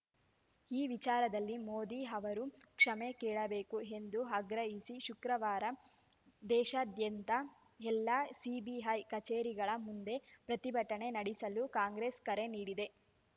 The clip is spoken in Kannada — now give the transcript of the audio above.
ಈ ವಿಚಾರದಲ್ಲಿ ಮೋದಿ ಅವರು ಕ್ಷಮೆ ಕೇಳಬೇಕು ಎಂದು ಆಗ್ರಹಿಸಿ ಶುಕ್ರವಾರ ದೇಶಾದ್ಯಂತ ಎಲ್ಲ ಸಿಬಿಐ ಕಚೇರಿಗಳ ಮುಂದೆ ಪ್ರತಿಭಟನೆ ನಡೆಸಲು ಕಾಂಗ್ರೆಸ್‌ ಕರೆ ನೀಡಿದೆ